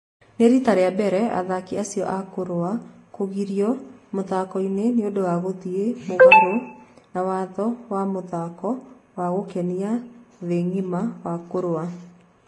Nĩ rita rĩa mbere athaki acio a kũrũa kũgirio mũthakoinĩ nĩũndũ wa gũthĩ mũgaro wa watho wa mũthako wa gũkenia nthĩ ngima wa kũrũa